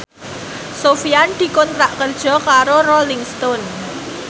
Sofyan dikontrak kerja karo Rolling Stone